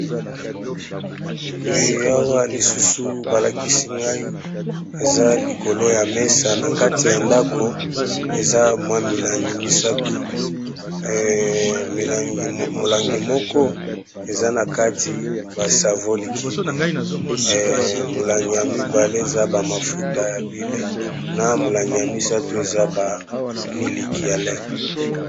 Oyo yawa lisusu balakisi ngai eza likolo ya mesa na kati ya ndako eza mwa milangi misato molangi moko eza na kati ba savon likide, molangi ya mibale eza ba mafuta ya huile, na molangi ya misato eza ba miliki ya lait.